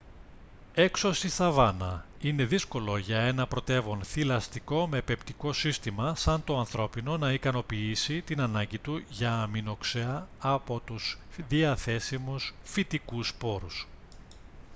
έξω στη σαβάνα είναι δύσκολο για ένα πρωτεύον θηλαστικό με πεπτικό σύστημα σαν το ανθρώπινο να ικανοποιήσει την ανάγκη του για αμινοξέα από τους διαθέσιμους φυτικούς πόρους